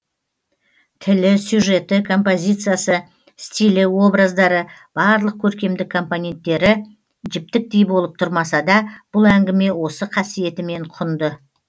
тілі сюжеті композициясы стилі образдары барлық көркемдік компоненттері жіптіктей болып тұрмаса да бұл әңгіме осы қасиетімен құнды